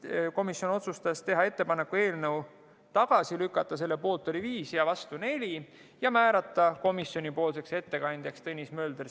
Komisjon otsustas teha ettepaneku eelnõu tagasi lükata ja määrata komisjoni ettekandjaks Tõnis Mölder .